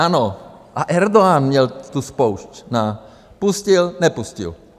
Ano, a Erdogan měl tu spoušť - pustil, nepustil.